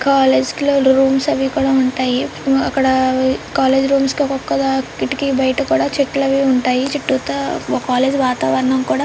college లో rooms అవి కూడా ఉంటాయి ఆ అక్కడ కాలేజ్ రూమ్స్ కి ఒక్కొకదా కిటికీ బయట కూడా చెట్లవి ఉంటాయి చుట్టూతా కాలేజ్ వాతావరణం కూడా--